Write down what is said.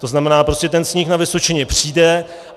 To znamená, prostě ten sníh na Vysočině přijde.